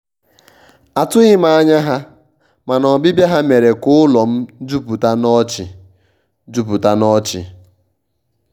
atụghị m anya ha mana ọbibia ha mere ka ụlọ m juputa n'ọchị. juputa n'ọchị.